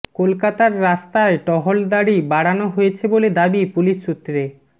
কলকাতার রাস্তায় টহলদারি বাড়ানো হয়েছে বলে দাবি পুলিশ সূত্রে